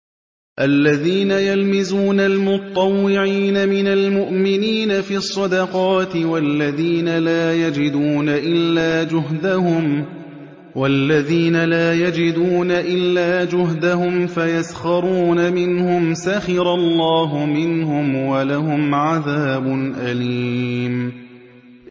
الَّذِينَ يَلْمِزُونَ الْمُطَّوِّعِينَ مِنَ الْمُؤْمِنِينَ فِي الصَّدَقَاتِ وَالَّذِينَ لَا يَجِدُونَ إِلَّا جُهْدَهُمْ فَيَسْخَرُونَ مِنْهُمْ ۙ سَخِرَ اللَّهُ مِنْهُمْ وَلَهُمْ عَذَابٌ أَلِيمٌ